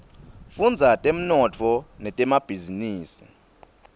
fudza temnotfo netemabhizinisa